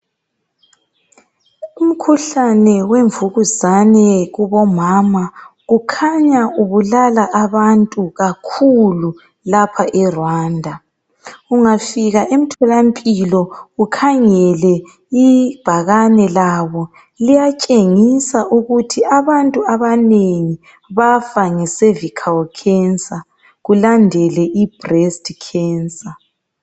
Umkhuhlane wemvukuzane kubomama kukhanya ubulala abantu kakhulu lapha e Rwanda , ungafika emtholampiloukhangele ibhakani labo uyabona ukuthi abantu abanengi bayafa ngemvukuzane yesibeletho kulandele imvukuzane yebele.